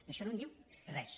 d’això no en diu res